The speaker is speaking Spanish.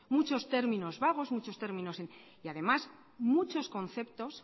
muchos términos vagos muchos términos y además muchos conceptos